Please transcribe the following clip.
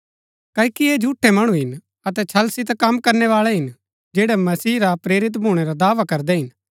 क्ओकि ऐह झूठै मणु हिन अतै छल सितै कम करनैवाळै हिन जैड़ै मसीह रा प्रेरित भूणै रा दावा करदै हिन